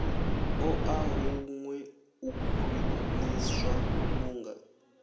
ṱoḓa huṅwe u khwiṋiswa vhunga